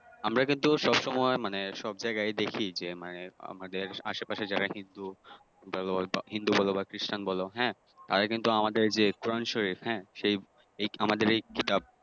আমরা কিন্তু সব সময় মানে সব জায়গায় দেখি যে মানে আমাদের আশেপাশে যারা হিন্দু বলো হিন্দু বলো বা খ্রিষ্টান বলো হ্যাঁ তারা কিন্তু আমাদের যে কোরআন শরীফ হাঁ সেই হ্যাঁ আমাদের এই কিতাব